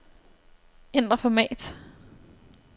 Ændr format.